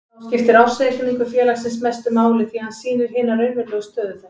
Þá skiptir ársreikningur félagsins mestu máli því að hann sýnir hina raunverulegu stöðu þess.